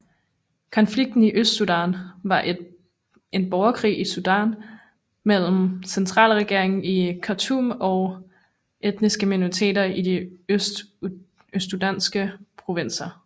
Konflikten i Østsudan var en borgerkrig i Sudan mellem centralregeringen i Khartoum og etniske minoriteter i de østsudanske provinser